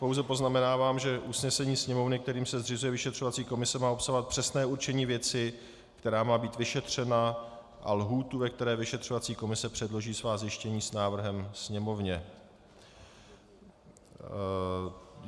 Pouze poznamenávám, že usnesení Sněmovny, kterým se zřizuje vyšetřovací komise, má obsahovat přesné určení věci, která má být vyšetřena, a lhůtu, ve které vyšetřovací komise předloží svá zjištění s návrhem Sněmovně.